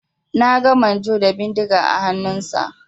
Na ga manjo da bindiga a hannunsa.